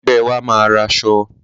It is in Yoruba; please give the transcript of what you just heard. Ẹgbẹ́ wa máa ra aṣọ.